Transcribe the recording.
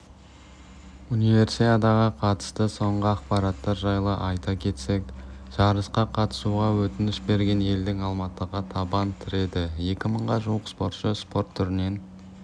универсиадаға қатысты соңғы ақпараттар жайлы айта кетсек жарысқа қатысуға өтініш берген елдің алматыға табан тіреді екі мыңға жуық спортшы спорт түрінен